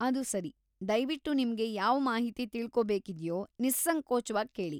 ಅದು ಸರಿ, ದಯ್ವಿಟ್ಟು ನಿಮ್ಗೆ ಯಾವ ಮಾಹಿತಿ ತಿಳ್ಕೋಬೇಕಿದ್ಯೋ ನಿಸ್ಸಂಕೋಚ್ವಾಗಿ ಕೇಳಿ.